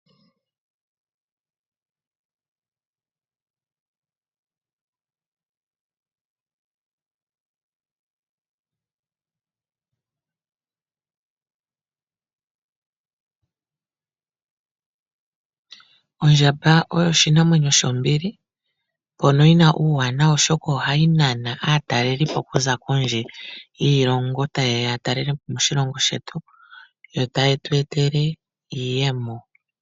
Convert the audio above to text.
Ondjamba oyo oshinamwenyo shombili, mpono yina uuwanawa oshoka ohayi nana aatalelipo okuza kondje yiilongo, tayeya yatalele po moshilongo shetu yo taye tweetele iiyemo.